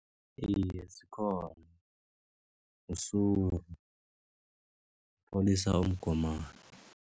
Iye, zikhona usuru upholisa umgomani.